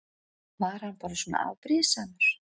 Var hann bara svona afbrýðisamur?